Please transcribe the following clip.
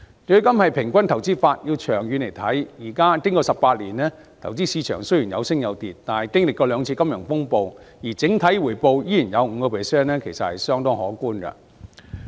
強積金是平均投資法，要看長遠表現，經過18年，投資市場雖然有升有跌，但經歷過兩次金融風暴整體回報率仍然有 5%， 其實是相當可觀的。